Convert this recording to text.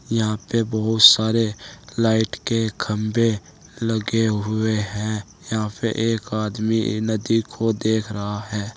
यहां पे बहुत सारे लाइट के खंबे लगे हुए हैं यहां पे एक आदमी नदी को देख रहा है।